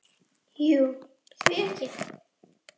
Jú, því ekki það?